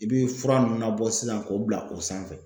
I bi fura nun nabɔ sisan k'o bila o sanfɛ